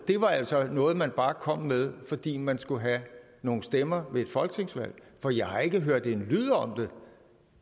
altså noget man bare kom med fordi man skulle have nogle stemmer ved et folketingsvalg for jeg har ikke hørt en lyd om det